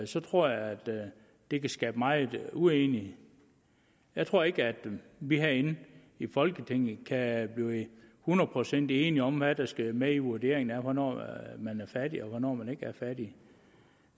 så tror jeg at det kan skabe meget uenighed jeg tror ikke at vi herinde i folketinget kan blive hundrede procent enige om hvad der skal med i en vurdering af hvornår man er fattig og hvornår man ikke er fattig